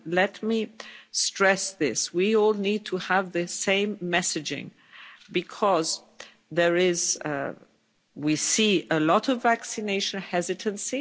Let me stress this we all need to have the same messaging because we see a lot of vaccination hesitancy.